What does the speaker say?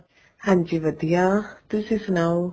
ਹਾਂਜੀ ਵਧੀਆ ਤੁਸੀਂ ਸਨਾਓ